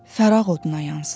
fəraq oduna yansın.